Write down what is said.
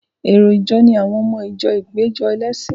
Èrò ìjọ ni àwọn ọmọ ìjọ ìpéjọ ẹlẹ́sìn.